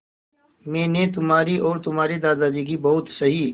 मैंने तुम्हारी और तुम्हारे दादाजी की बहुत सही